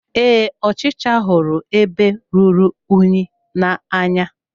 Ee, ọchịcha hụrụ ebe rụrụ unyi n'anya.